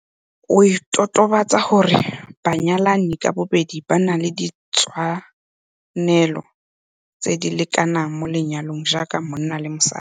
o totobatsa gore banyalani ka bobedi ba na le ditshwanelo tse di lekanang mo lenyalong jaaka monna le mosadi.